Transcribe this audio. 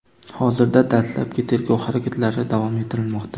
Hozirda, dastlabki tergov harakatlari davom ettirilmoqda.